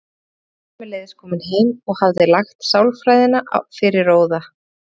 Guðgeir var sömuleiðis kominn heim og hafði lagt sálarfræðina fyrir róða.